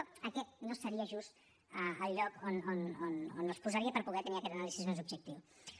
però aquest no seria just el lloc on els posaria per poder tenir aquesta anàlisi més objectiva